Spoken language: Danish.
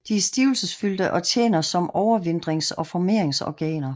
De er stivelsesfyldte og tjener sum overvintrings og formeringsorganer